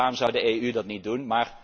succesvol is. Dus waarom zou de EU